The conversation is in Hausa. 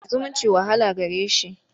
zumunci wahala gare shi.